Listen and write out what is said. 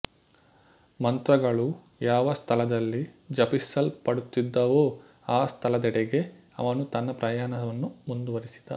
ಮಂತ್ರಗಳು ಯಾವ ಸ್ಥಳದಲ್ಲಿ ಜಪಿಸಲ್ಪಡುತ್ತಿದ್ದವೋ ಆ ಸ್ಥಳದೆಡೆಗೆ ಅವನು ತನ್ನ ಪ್ರಯಾಣವನ್ನು ಮುಂದುವರಿಸಿದ